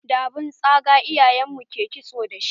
Da abun tsaga iyayen mu ke Kitso dashi.